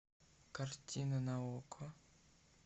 картина на окко